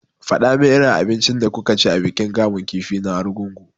Faɗa min irin abincin da kuka ci a bikin kamun kifi na argungu!